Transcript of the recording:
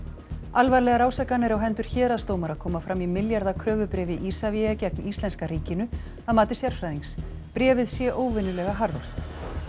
alvarlegar ásakanir á hendur héraðsdómara koma fram í milljarða kröfubréfi Isavia gegn íslenska ríkinu að mati sérfræðings bréfið sé óvenjulega harðort